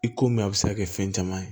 I ko min a bɛ se ka kɛ fɛn caman ye